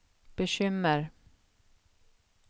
bekymmer